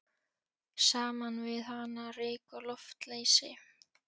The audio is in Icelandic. Saman við hana ryk og loftleysi.